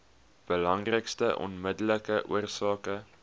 belangrikste onmiddellike oorsake